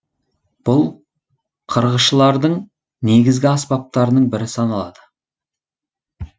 бұл қырғышылардың негізгі аспаптарының бірі саналады